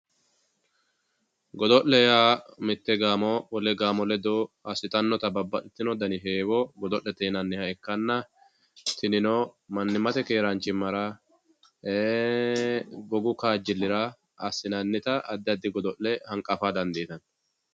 Godo'le yaa mitte gaamo wole gaamo ledo godo'litannota babbaxxitino dani heewo godo'le yinanniha ikkanna tinino mannimmate keeraanchimmara gogu kaajjillira assinannita addi addi godo'le hanqafa dandiinanni